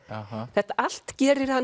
þetta allt gerir hann